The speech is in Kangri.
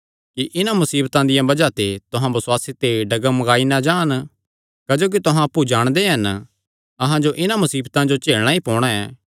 कि इन्हां मुसीबतां दिया बज़ाह ते तुहां बसुआसे ते डगमगाई नीं जान क्जोकि तुहां अप्पु जाणदे हन अहां जो इन्हां मुसीबतां जो झेलणा ई पोणा